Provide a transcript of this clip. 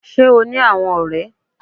Sé o ní àwon òré